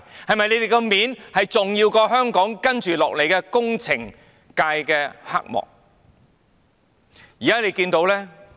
他們的面子，是否重要過處理香港接下來的工程界黑幕呢？